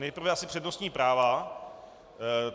Nejprve asi přednostní práva.